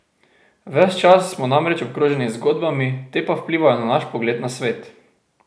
Ves čas smo namreč obkroženi z zgodbami, te pa vplivajo na naš pogled na svet.